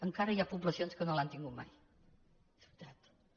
encara hi ha poblacions que no l’han tinguda mai de veritat